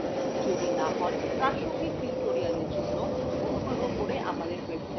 যদি না হন প্রাসঙ্গিক tutorials জন্য অনুগ্রহ করে আমাদের website দেখুন